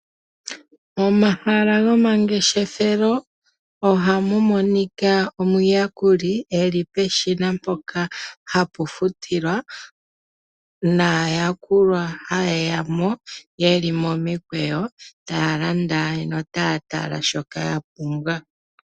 Momahala gomangeshefelo ohamu monika omuyakuli eli peshina mpoka hapu futilwa naayakulwa hayeya mo yeli momikweyo taa landa notaya tala shoka yapumbwa.